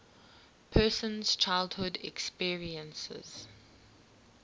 person's childhood experiences